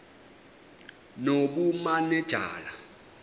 nobumanejala